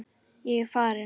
Ég er farinn